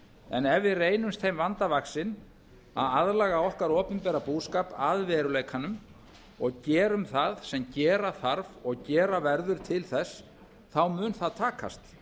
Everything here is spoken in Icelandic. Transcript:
en ef við reynumst þeim vanda vandinn að aðlaga okkar opinbera búskap að veruleikanum og gerum það sem gera þarf og gera verður til þess þá mun það takast